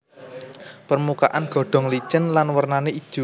Permukaan godhong licin lan warnané ijo